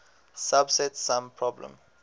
subset sum problem